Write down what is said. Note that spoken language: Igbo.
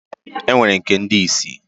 E nwere nke ndi isi.